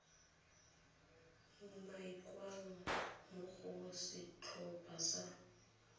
umakiwang mo go setlhopha sa